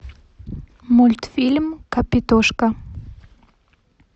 мультфильм капитошка